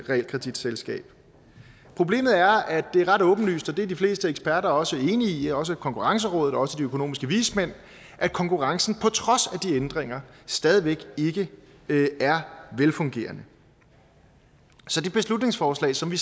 realkreditselskab problemet er at det er ret åbenlyst og det er de fleste eksperter også enige i også konkurrencerådet og også de økonomiske vismænd at konkurrencen på trods af de ændringer stadig væk ikke er velfungerende så det beslutningsforslag som vi